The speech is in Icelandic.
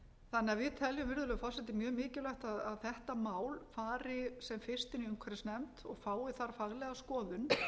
teljum virðulegur forseti mjög mikilvægt að þetta mál fari sem fyrst inn i umhverfisnefnd og fái þar faglega skoðun